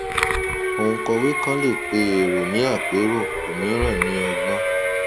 òǹkọwé kàn lè pe èrò ní àpérò òmíràn ní ọgbọn